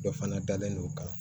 Dɔ fana dalen no kan